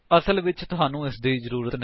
ਅਸਲ ਵਿੱਚ ਤੁਹਾਨੂੰ ਇਸਦੀ ਜ਼ਰੂਰਤ ਨਹੀਂ